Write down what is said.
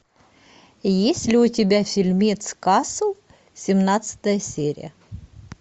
есть ли у тебя фильмец касл семнадцатая серия